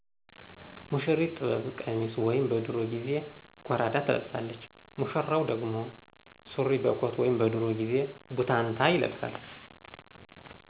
ሙሽሪት ጥበብ ቀሚስ ወይም በድሮ ጊዜ ጎራዳ ትለብሳለች። ሙሽራው ደግሞ ሱሪ በኮት ወይም በድሮ ጊዜ ቡታንታ ይለብሳል።